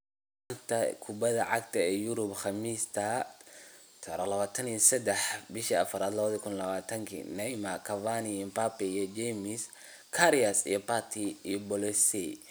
Xanta Kubadda Cagta Yurub Khamiista 23.04.2020: Neymar, Cavani, Mbappe, James, Karius, Partey, Bolasie